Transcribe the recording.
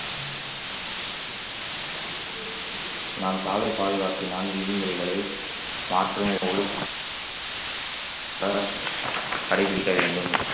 நான் சாலை பாதுகாப்பினால் விதிமுறைகளை தடை விதிக்க வேண்டும்